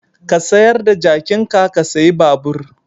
Ka sayar da jakinka ka sayi babur.